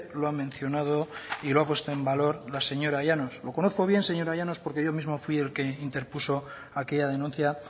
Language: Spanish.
lo ha mencionado y lo ha puesto en valor la señora llanos lo conozco bien señora llanos porque yo mismo fui el que interpuso aquella denuncia